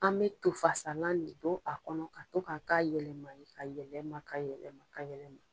An bɛ to fasalan le don a kɔnɔ ka to ka ka yɛlɛma ye ka yɛlɛma ka yɛlɛma ka yɛlɛma.